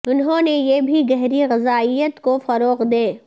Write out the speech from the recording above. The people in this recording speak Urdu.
انہوں نے یہ بھی گہری غذائیت کو فروغ دیں